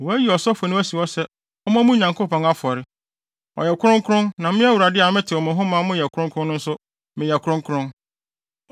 Wɔayi ɔsɔfo no asi hɔ sɛ ɔmmɔ mo Nyankopɔn afɔre; ɔyɛ kronkron na me Awurade a metew mo ho ma moyɛ kronkron no nso meyɛ kronkron.